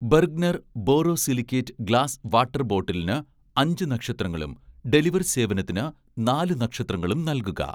Bergner borosilicate glass water ബോട്ടിലിന് അഞ്ച് നക്ഷത്രങ്ങളും ഡെലിവർ സേവനത്തിന് നാല് നക്ഷത്രങ്ങളും നൽകുക